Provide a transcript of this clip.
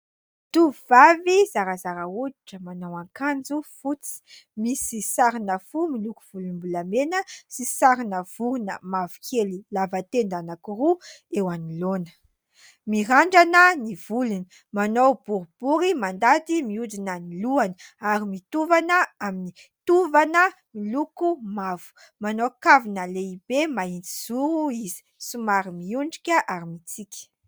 Tovovavy zarazara hoditra, manao akanjo fotsy misy sarina fo miloko volombolamena, sy sarina vorona mavokely lava tenda anankiroa eo anoloana. Mirandrana ny volony, manao boribory mandady miodina amin'ny lohany, ary mitovana amin'ny tovana miloko mavo. Manao kavina lehibe mahitsy zoro izy, somary miondrika, ary mitsiky.